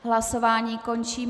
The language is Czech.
Hlasování končím.